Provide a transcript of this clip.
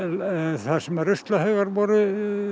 þar sem ruslahaugarnir voru